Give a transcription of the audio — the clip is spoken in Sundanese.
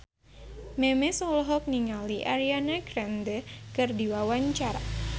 Memes olohok ningali Ariana Grande keur diwawancara